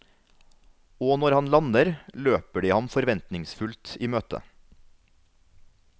Og når han lander, løper de ham forventningsfullt i møte.